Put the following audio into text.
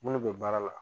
Minnu bɛ baara la